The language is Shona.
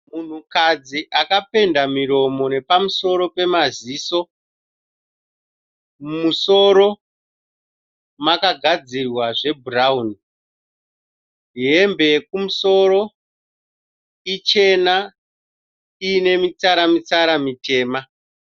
Munhukadzi akapenda muromo nepamusoro pemaziso. Mumusoro makagadzirwa zvebhurauni hembe yekumusoro ichena inemitsara mitsara mitema